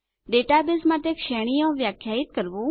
database માટે શ્રેણીઓ વ્યાખ્યાયિત કરવું